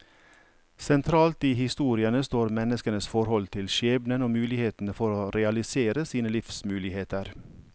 Sentralt i historiene står menneskenes forhold til skjebnen og mulighetene for å realisere sine livsmuligheter.